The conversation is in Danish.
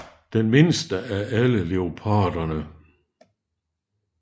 Det er den mindste af alle leoparderne